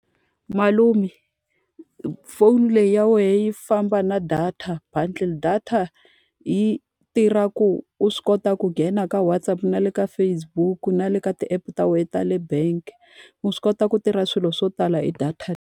Malume phone leyi ya wehe yi famba na data bundle. Data yi tirha ku u swi kota ku nghena ka WhatsApp na le ka Facebook-u na le ka ti-app ta wena ta le bank. Wa swi kota ku tirha swilo swo tala hi data.